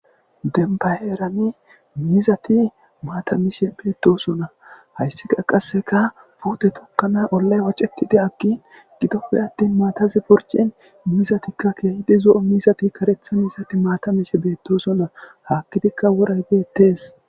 Dembba heeraani miizathi maatha mishe doosona; hayssika qassika puuthe tokkana ollay woceththidage gidoppe aththin maathay purccin miizathikka zo7o miizathi kareththa miizathi maatha mishe beeththoosona; haakkidikka woray beeththees.